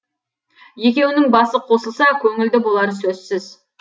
екеуінің басы қосылса көңілді болары сөзсіз